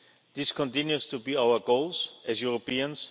Syria. This continues to be our goal as Europeans.